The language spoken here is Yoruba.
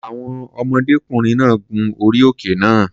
Àwọn ọmọdékùnrin náà gun orí òkè náà.